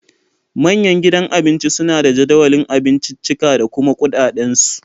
Manyan gidan Abinci suna da jadawalin abinciccika da kuma kuɗaɗen su